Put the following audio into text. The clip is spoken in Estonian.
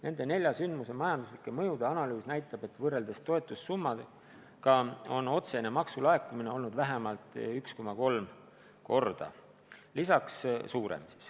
Nende nelja sündmuse majandusliku mõju analüüs näitab, et võrreldes toetussummaga on otsene maksulaekumine olnud vähemalt 1,3 korda suurem.